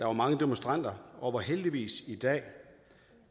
var mange demonstranter og heldigvis i dag